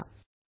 निवडा